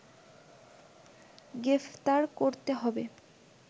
গ্রেপ্তার করতে হবে